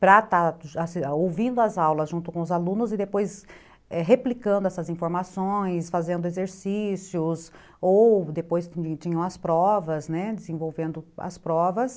para estar ouvindo as aulas junto com os alunos e depois replicando essas informações, fazendo exercícios, ou depois tinham as provas, né, desenvolvendo as provas.